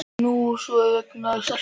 Nú og svo auðvitað vegna stelpunnar.